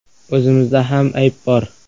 “O‘zimizda ham ayb bor.